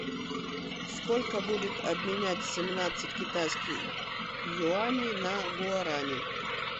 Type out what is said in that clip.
сколько будет обменять семнадцать китайских юаней на гуарани